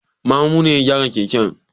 Mamu ne ya gyara keken.